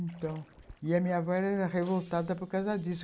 Então... E a minha avó era revoltada por causa disso.